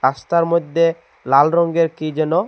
রাস্তার মধ্যে লাল রংগের কি যেন--